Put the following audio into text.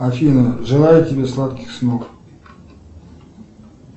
афина желаю тебе сладких снов